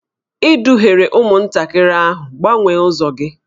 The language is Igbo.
Ị duhiere ụmụntakịrị ahụ, gbanwee ụzọ gị!